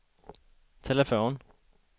telefon